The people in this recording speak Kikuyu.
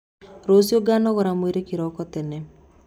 Rũciũ nganogora mwĩrĩ kĩroko tene.